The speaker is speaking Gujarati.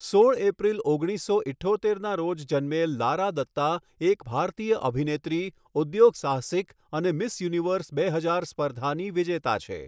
સોળ એપ્રિલ ઓગણીસો ઇઠ્ઠોતેરના રોજ જન્મેલ લારા દત્તા એક ભારતીય અભિનેત્રી, ઉદ્યોગસાહસિક અને મિસ યુનિવર્સ બે હજાર સ્પર્ધાની વિજેતા છે.